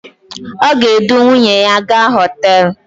O ga-edu nwuyne ya gaa hotelu